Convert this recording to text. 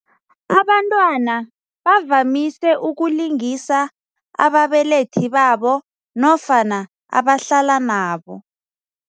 Abantwana bavamise ukulingisa ababelethi babo nofana abahlala nabo.